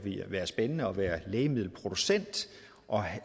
være spændende at være lægemiddelproducent og